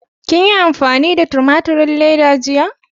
Kin yi amfani da tumaturin ledan jiya?